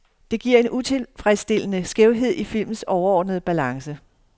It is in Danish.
Det giver en utilfredsstillende skævhed i filmens overordnede balance.